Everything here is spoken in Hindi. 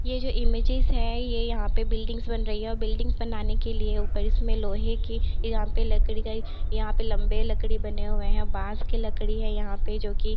ये जो इमेजेज है ये यहाँ पे बिल्डिंग्स बन रहीं हैं और बिल्डिंग्स बनाने के लिए ऊपर इसमें लोहे की यहाँ पे लकड़ी का एक यहाँ पे लम्बे लकड़ी बने हुए हैं बांस के लकड़ी हैं यहाँ पे जो कि --